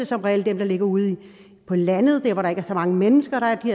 som regel ligger ude på landet hvor der ikke er så mange mennesker